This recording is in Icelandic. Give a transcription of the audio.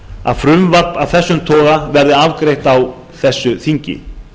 að frumvarp af þessum toga verði afgreitt á þessu þingi